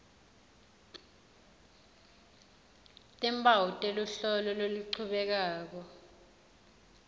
timphawu teluhlolo loluchubekako